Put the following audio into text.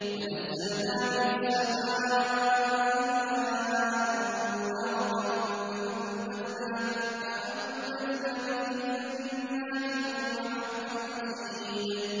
وَنَزَّلْنَا مِنَ السَّمَاءِ مَاءً مُّبَارَكًا فَأَنبَتْنَا بِهِ جَنَّاتٍ وَحَبَّ الْحَصِيدِ